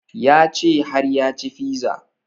Ya ce har ya ci fiza